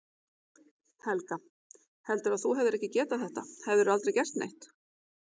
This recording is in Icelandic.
Helga: Heldurðu að þú hefðir ekki getað þetta hefðirðu aldrei gert neitt?